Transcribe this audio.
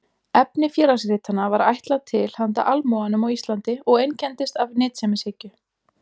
Efni Félagsritanna var ætlað til handa almúganum á Íslandi og einkenndist af nytsemishyggju.